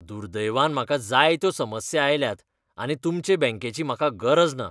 दुर्दैवान म्हाका जायत्यो समस्या आयल्यात आनी तुमचॆ बॅंकेची म्हाका गरज ना गिरायक